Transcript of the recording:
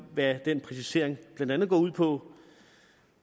hvad den præcisering blandt andet går ud på